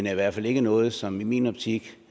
er i hvert fald ikke noget som i min optik